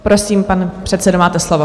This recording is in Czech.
Prosím, pane předsedo, máte slovo.